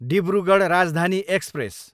Dibrugarh Rajdhani express